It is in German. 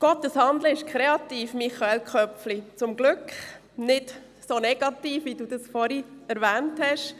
Gottes Handeln ist kreativ, Michael Köpfli, und zum Glück nicht so negativ, wie Sie das vorhin erwähnt haben!